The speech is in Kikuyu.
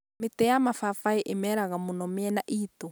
mĩtĩ ya mabambaĩ ĩmeraga mũno mĩena ĩitũ